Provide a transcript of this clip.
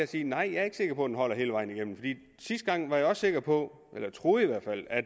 sige nej jeg er ikke sikker på at den holder hele vejen igennem sidste gang var jeg sikker på eller troede i hvert fald at